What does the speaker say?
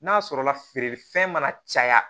N'a sɔrɔ la feere fɛn mana caya